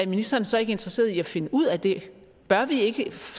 ministeren så ikke interesseret i at finde ud af det bør vi ikke